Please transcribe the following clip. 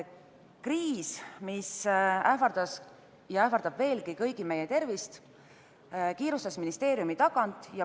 Kriis, mis ähvardas ja ähvardab veelgi meie kõigi tervist, kiirustas ministeeriumi tagant.